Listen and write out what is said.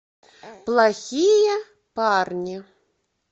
плохие парни